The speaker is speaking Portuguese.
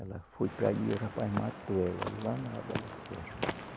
Ela foi para ali, o rapaz matou ela lá na